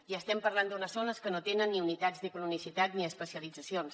i estem parlant d’unes zones que no tenen ni unitats de cronicitat ni especialitzacions